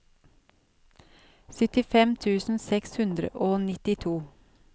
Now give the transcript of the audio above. syttifem tusen seks hundre og nittito